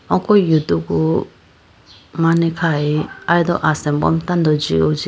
Oko yudugu mane khayi aye do asimbo mai tando jihojyibo.